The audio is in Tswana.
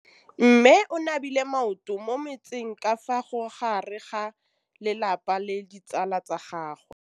Mme o namile maoto mo mmetseng ka fa gare ga lelapa le ditsala tsa gagwe.